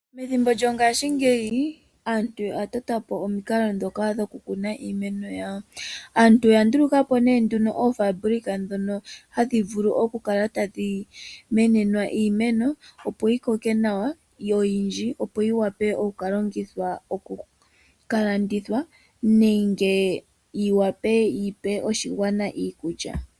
Methimbo lyongashi ngeyi aantu oya totapo omikalo ndhoka dhoku kuna iimeno yawo, aantu oya dhikapo oofabulika ndhono hadhi vulu okukala tadhi menenwa iimeno opo yi koke nawa yo yindji opo yi wape oku kalongithwa okukalanditha nenge yi wape yipe aakwashigwana iikulya.